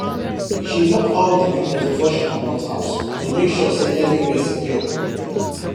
she lock all the windows before she comot house to make sure say everywhere secure